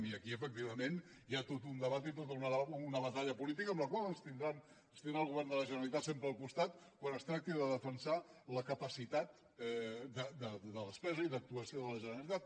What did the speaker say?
i aquí efectivament hi ha tot un debat i tota una batalla política en la qual ens tindrà el govern de la generalitat sempre al costat quan es tracti de defensar la capacitat de despesa i d’actuació de la generalitat